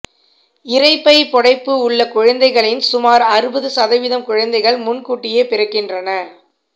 இரைப்பை புடைப்பு உள்ள குழந்தைகளில் சுமார் அறுபது சதவீதம் குழந்தைகள் முன்கூட்டியே பிறக்கின்றன